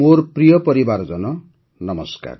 ମୋର ପ୍ରିୟ ପରିବାରଜନ ନମସ୍କାର